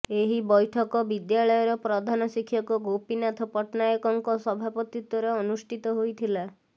ଏହି ବୈଠକ ବିଦ୍ୟାଳୟର ପ୍ରଧାନଶିକ୍ଷକ ଗୋପୀନାଥ ପଟ୍ଟନାୟକଙ୍କ ସଭାପତିତ୍ୱରେ ଅନୁଷ୍ଠିତ ହୋଇଥିଲା